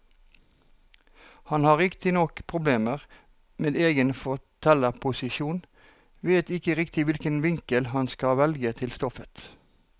Han har riktignok problemer med egen fortellerposisjon, vet ikke riktig hvilken vinkel han skal velge til stoffet.